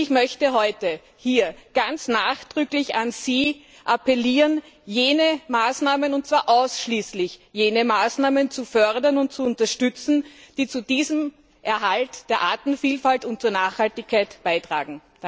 Ich möchte heute hier ganz nachdrücklich an Sie appellieren, jene Maßnahmen und zwar ausschließlich jene Maßnahmen zu fördern und zu unterstützen, die zu diesem Erhalt der Artenvielfalt und zur Nachhaltigkeit beitragen.